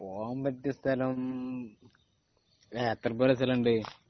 പോകാൻ പറ്റിയ സ്ഥലം എത്രക്കൊക്കെ സ്ഥലമുണ്ട്